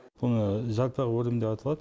бұл жалпақ өрім деп аталады